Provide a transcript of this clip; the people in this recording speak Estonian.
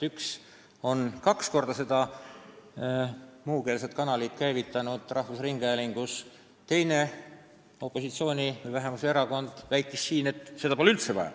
Üks valitsust juhtinud erakond on muukeelset kanalit kaks korda rahvusringhäälingus käivitanud ja teise opositsioonierakonna arvates pole seda telekanalit üldse vaja.